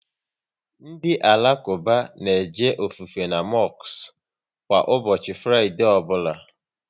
Ndị Alakuba na eje ofufe n' mosku kwa ụbọchị Fraịdee ọbụla